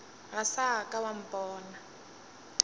ga sa ka wa mpona